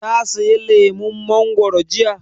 Ta saya lemun mangoro jiya?